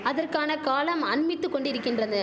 அதற்கான காலம் அண்மித்து கொண்டிரிக்கின்றது